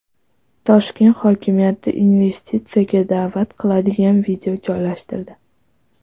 Toshkent hokimiyati investitsiyaga da’vat qiladigan video joylashtirdi.